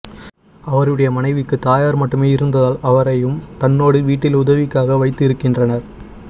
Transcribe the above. அவருடைய மனைவிக்கு தாயார் மட்டுமே இருந்ததால் அவரையும் தன்னோடு வீட்டில் உதவிக்காக வைத்து இருக்கின்றார்